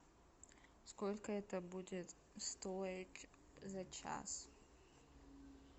сколько это будет стоить за час